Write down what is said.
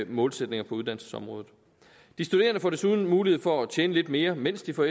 målsætninger på uddannelsesområdet de studerende får desuden mulighed for at tjene lidt mere mens de får